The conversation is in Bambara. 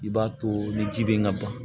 I b'a to ni ji bɛ ka ban